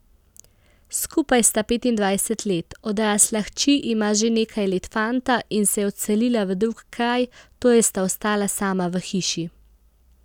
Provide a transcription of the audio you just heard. Skupaj sta petindvajset let, odrasla hči ima že nekaj let fanta in se je odselila v drug kraj, torej sta ostala sama v hiši.